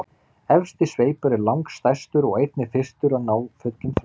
efsti sveipur er langstærstur og einnig fyrstur að ná fullum þroska